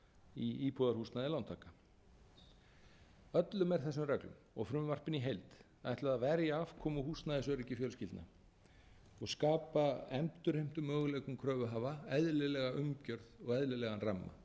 í íbúðarhúsnæði lántaka öllum er þessum reglum og frumvarpinu í heild ætlað að verja afkomu húsnæðisöryggi fjölskyldna og skapa endurheimtumöguleikum kröfuhafa eðlilega umgjörð og eðlilegan ramma